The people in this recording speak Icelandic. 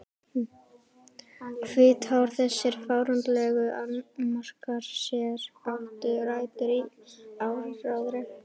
Hvítár Þessir fáránlegu annmarkar, sem áttu rætur í áróðri